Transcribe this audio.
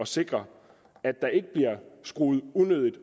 sikre at der ikke bliver skruet unødigt